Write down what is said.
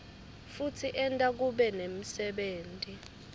futsi enta kube nemsebenti